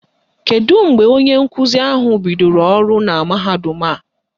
Kedu mgbe onye nkuzi ahụ bidoro ọrụ na mahadum a?